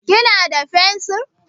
Kina da fensiri?